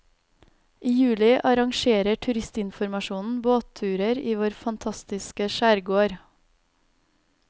I juli arrangerer turistinformasjonen båtturer i vår fantastiske skjærgård.